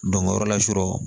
o yɔrɔ la sɔrɔ